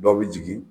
Dɔw bɛ jigin